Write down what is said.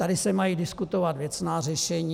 Tady se mají diskutovat věcná řešení.